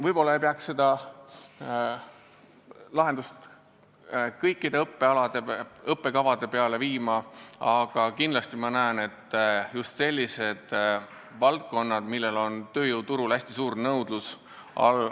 Võib-olla ei peaks seda lahendust kasutama kõikide õppealade, õppekavade puhul, aga see kindlasti õigustaks ennast selliste erialade puhul, mille järele on tööjõuturul hästi suur nõudlus.